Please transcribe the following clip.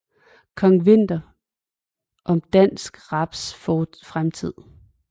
Kong Winther om dansk raps fremtid